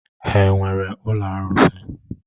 Ha nwere ụlọ arụsị?